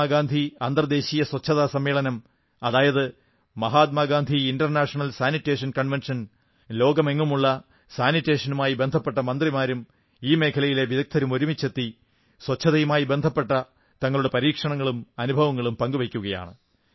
മഹാത്മാ ഗാന്ധി അന്തർദേശീയ സ്വച്ഛതാ സമ്മേളനം അതായത് Mahatma Gandhi international sanitation convention ലോകമെങ്ങുമുള്ള സാനിറ്റേഷനുമായി ബന്ധപ്പെട്ട മന്ത്രിമാരും ഈ മേഖലയിലെ വിദഗ്ധരും ഒരുമിച്ചെത്തി സ്വച്ഛതയുമായി ബന്ധപ്പെട്ട തങ്ങളുടെ പരീക്ഷണങ്ങളും അനുഭവങ്ങളും പങ്കുവയ്ക്കുകയാണ്